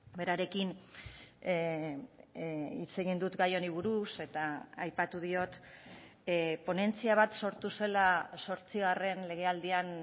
berarekin hitz egin dut gai honi buruz eta aipatu diot ponentzia bat sortu zela zortzigarren legealdian